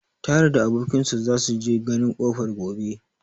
Tahir da abokin sa za su je ganin kofar gobe.